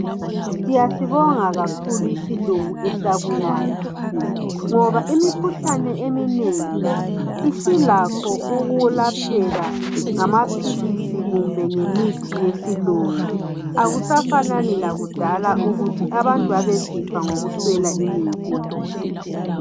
Siyasibonga kakhulu isilungu esabuyayo ngoba imikhuhlane eminengi isilakho ukuyelapheka ngamaphilisi kumbe ngemithi yesilungu. Akusafani lakudala ukuthi abantu babesifa ngokuswela imithi.